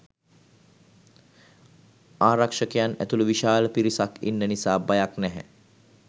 ආරක්ෂකයන් ඇතුළු විශාල පිරිසක් ඉන්න නිසා බයක් නැහැ.